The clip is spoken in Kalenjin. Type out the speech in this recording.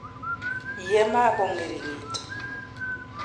Ye ma ko ng'eringitu.